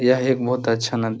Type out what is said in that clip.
यह एक बहुत अच्छा नदी --